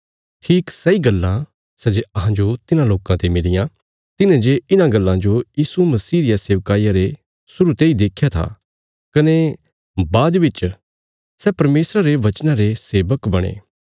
ठीक सैई गल्लां सै जे अहांजो तिन्हां लोकां ते मिलियां तिन्हें जे इन्हां गल्लां जो यीशु मसीह रिया सेवकाईया रे शुरु तेई देख्या था कने बाद बिच सै परमेशरा रे वचना रे सेवक बणे